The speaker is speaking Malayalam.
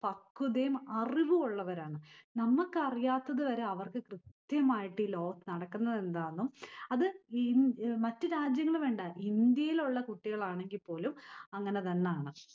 പക്വതേം അറിവുമുള്ളവരാണ്. നമ്മക്ക് അറിയാത്തവരെ അവർക്ക് കൃത്യമായിട്ട് ഈ ലോകത് നടക്കുന്നതെന്താന്നും അത് ഇ ഏർ മറ്റ് രാജ്യങ്ങള് വേണ്ട, ഇന്ത്യയിലുള്ള കുട്ടികളാണെങ്കിൽപോലും അങ്ങിനെതനാണ്.